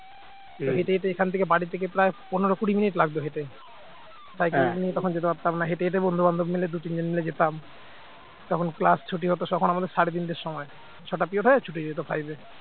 হেঁটে হেঁটে এখান থেকে প্রায় বাড়ি থেকে প্রায় পনেরো কুড়ি মিনিট লাগতো হেঁটে cycle নিয়ে তখন যেতে পারতাম না হেঁটে হেঁটে তখন দু তিনজন বন্ধু বান্ধব মিলে যেতাম তখন class ছুটি হত যখন আমাদের সাড়ে তিনটের সময় ছয় টা period হয়ে ছুটি হয়ে যেত five